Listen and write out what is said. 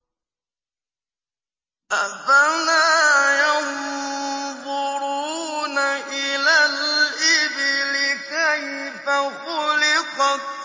أَفَلَا يَنظُرُونَ إِلَى الْإِبِلِ كَيْفَ خُلِقَتْ